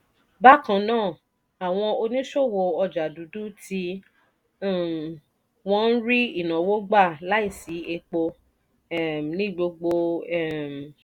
bákan náà àwọn oníṣòwò ọjà dúdú tí um wọ́n ń rí ìnáwó gbà láìsí epo um ní gbogbo um